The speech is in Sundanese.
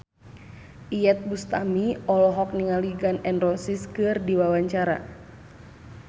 Iyeth Bustami olohok ningali Gun N Roses keur diwawancara